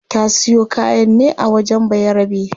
Ta siyo kayan ne a wajen bayarabe